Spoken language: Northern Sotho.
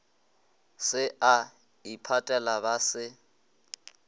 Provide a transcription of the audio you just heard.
se a iphatela ba se